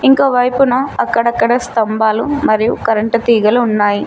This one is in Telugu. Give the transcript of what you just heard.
ఇంకో వైపున అక్కడక్కడ స్తంభాలు మరియు కరెంటు తీగలు ఉన్నాయి.